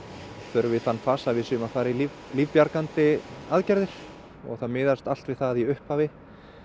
förum við í þann fasa að við séum að fara í lífbjargandi aðgerðir og það miðast allt við það í upphafi